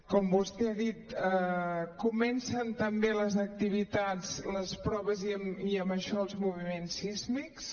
com vostè ha dit co·mencen també les activitats les proves i amb això els moviments sísmics